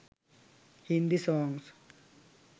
hindi songs